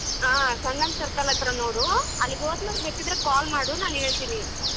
ಆ ಸಂಗಮ್ circle ಅತ್ರ ನೋಡು ಅಲ್ಲಿಗ್ ಹೋದ್ಮೇಲೆ ಬೇಕಿದ್ರೆ call ಮಾಡು ನಾನ್ ಹೇಳ್ತಿನಿ.